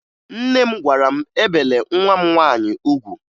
Nne m gwara m ebele nwa m nwaanyị ugwu